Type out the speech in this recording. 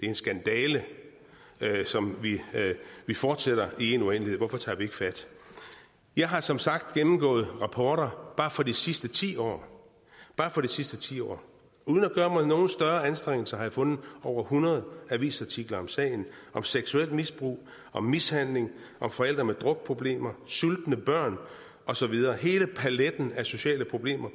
en skandale som vi fortsætter i en uendelighed hvorfor tager vi ikke fat jeg har som sagt gennemgået rapporter bare for de sidste ti år bare for de sidste ti år og uden at gøre mig nogen større anstrengelser har jeg fundet over hundrede avisartikler om sagen om seksuelt misbrug om mishandling om forældre med drukproblemer sultne børn og så videre hele paletten af sociale problemer